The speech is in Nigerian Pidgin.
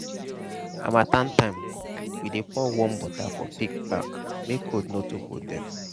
harmattan time we dey pour warm water for pig back make cold no too hold dem.